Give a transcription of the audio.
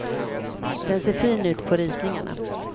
Den ser fin ut på ritningarna.